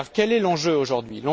Quel est l'enjeu aujourd'hui?